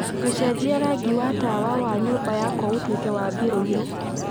gũcenjia rangi wa tawa wa nyũmba yakwa ũtuĩke wa mbirũirũ